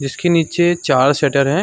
जिसके नीचे चार शटर हैं ।